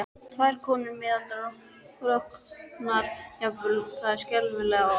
Tvær konur, miðaldra, rosknar jafnvel, það skelfilega orð.